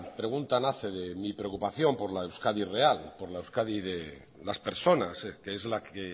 pregunta nace de mi preocupación por la euskadi real por la euskadi de las personas que es la que